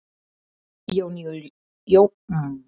Jón Júlíus: Hvenær verður þú búinn að ganga frá gólfinu hérna?